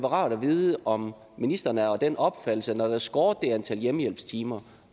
rart at vide om ministeren er af den opfattelse at når der er skåret det antal hjemmehjælpstimer